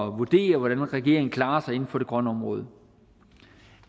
vurdere hvordan regeringen klarer sig inden for det grønne område